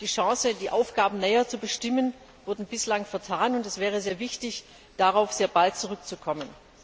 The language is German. Die Chancen, die Aufgaben näher zu bestimmen, wurden bislang vertan, und es wäre sehr wichtig, darauf sehr bald zurückzukommen.